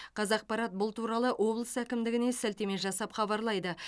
қазақпарат бұл туралы облыс әкімдігіне сілтеме жасап хабарлайды